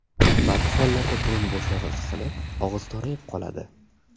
Ba’zi hollarda burun bo‘shlig‘i qisilib, og‘iz torayib qoladi.